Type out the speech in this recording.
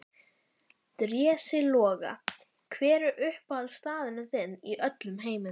Drési Loga Hver er uppáhaldsstaðurinn þinn í öllum heiminum?